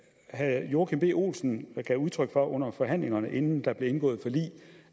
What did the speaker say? herre joachim b olsen gav udtryk for under forhandlingerne inden der blev indgået forlig